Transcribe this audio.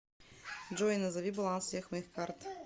джой назови баланс всех моих карт